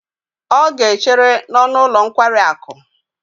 Ọ ga-echere n'ọnụ ụlọ nkwari akụ.